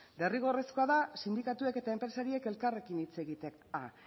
derrigorrezkoa da sindikatuek eta enpresariek elkarrekin hitz egitea